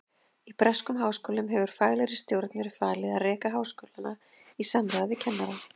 Í breskum háskólum hefur faglegri stjórn verið falið að reka skólana í samráði við kennara.